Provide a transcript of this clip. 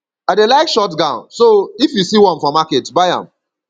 i dey like short gown so if you see one for market buy am